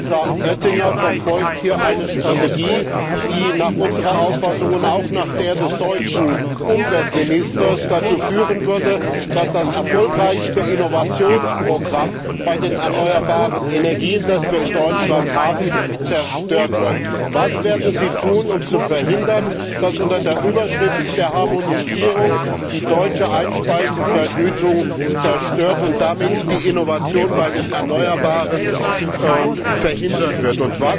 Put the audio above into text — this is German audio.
Energiekommissar Oettinger verfolgt hier eine Strategie, die nach unserer Auffassung und auch nach der des deutschen Umweltministers dazu führen würde, dass das erfolgreichste Innovationsprogramm bei den erneuerbaren Energien, das wir in Deutschland haben, zerstört wird. Was werden Sie tun, um zu verhindern, dass unter der Überschrift der Harmonisierung die deutsche Einspeisevergütung zerstört und damit die Innovation bei den erneuerbaren Energien verhindert wird?